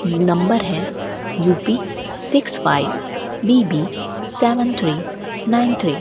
ये नंबर है U P six five B B seven three nine three.